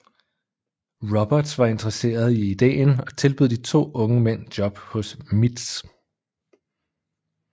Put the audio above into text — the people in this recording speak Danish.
Roberts var interesseret i ideen og tilbød de to unge mænd job hos MITS